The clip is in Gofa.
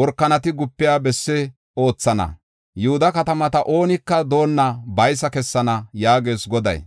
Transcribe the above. workanati gupiya bessi oothana. Yihuda katamata oonika doonna baysa kessana” yaagees Goday.